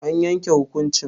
An yanke hukuncin?